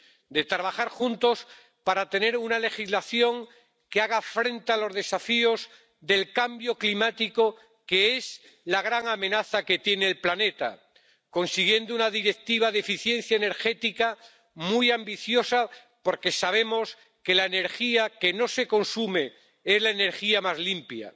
De trabajar juntos para tener una legislación que haga frente a los desafíos del cambio climático, que es la gran amenaza que tiene el planeta, consiguiendo una Directiva de eficiencia energética muy ambiciosa, porque sabemos que la energía que no se consume es la energía más limpia.